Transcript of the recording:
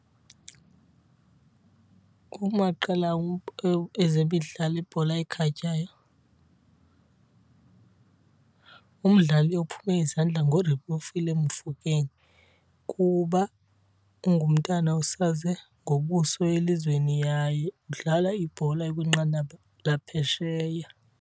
Kumaqela ezemidlalo ibhola ekhatywayo umdlali ophume izandla nguRelebohile Mofokeng kuba ungumntana osaze ngobuso elizweni yaye udlala ibhola ekwinqanaba laphesheya.